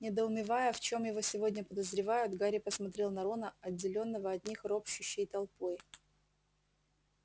недоумевая в чём его сегодня подозревают гарри посмотрел на рона отделённого от них ропщущей толпой